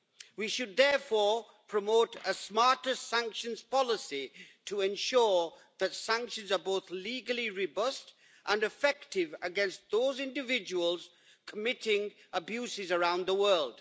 We should, therefore, promote a smarter sanctions policy to ensure that sanctions are both legally robust and effective against those individuals committing abuses around the world.